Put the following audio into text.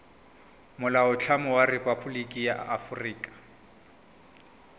molaotlhomo wa rephaboliki ya aforika